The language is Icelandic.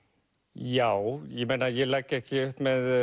já ég meina ég legg ekki upp með